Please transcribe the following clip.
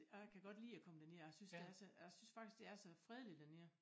Og jeg kan godt lide at komme derned og jeg synes det er så og jeg synes faktisk det er så fredeligt dernede